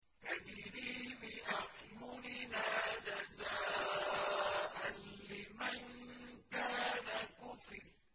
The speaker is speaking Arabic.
تَجْرِي بِأَعْيُنِنَا جَزَاءً لِّمَن كَانَ كُفِرَ